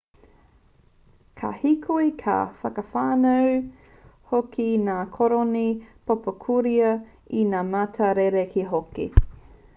ka hīkoi ka whakawhānau hoki ngā koroni pōpokorua i ngā mata rerekē hoki